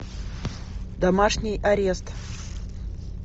домашний арест